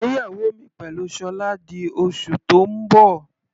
Ìgbéyàwó mi pẹ̀lú Sola di oṣù tó ń bọ̀.